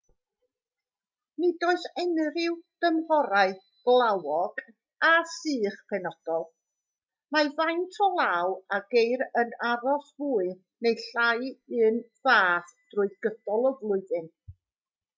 nid oes unrhyw dymhorau glawog a sych penodol mae faint o law a geir yn aros fwy neu lai'r un fath trwy gydol y flwyddyn